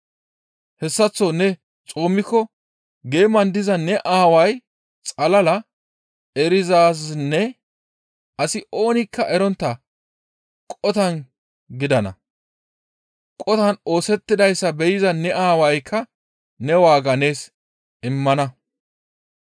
Hessaththo ne xoomikko geeman diza ne Aaway xalala erizaazinne asi oonikka erontta qotan gidana. Qotan oosettidayssa be7iza ne Aawaykka ne waaga nees immana.